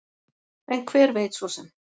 En hver veit svo sem?